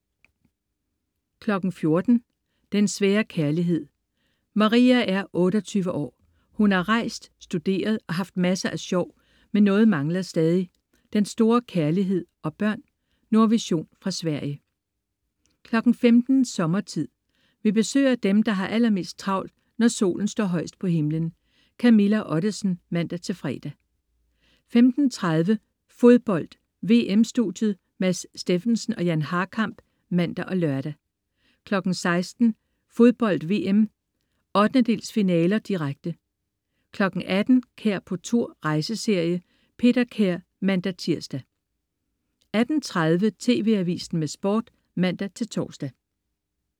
14.00 Den svære kærlighed. Maria er 28 år. Hun har rejst, studeret og haft masser af sjov, men noget mangler stadig: den store kærlighed og børn. Nordvision fra Sverige 15.00 Sommertid. Vi besøger dem, der har allermest travlt, når Solen står højest på himlen. Camilla Ottesen (man-fre) 15.30 Fodbold: VM-studiet. Mads Steffensen og Jan Harkamp (man og lør) 16.00 Fodbold: VM. 1/8-finaler, direkte 18.00 Kær på tur. Rejseserie. Peter Kær (man-tirs) 18.30 TV Avisen med Sport (man-tors)